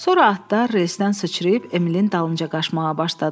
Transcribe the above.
Sonra atlar relsdən sıçrayıb Emilin dalınca qaçmağa başladılar.